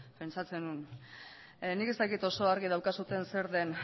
nik ez dakit oso argi daukazuen zer den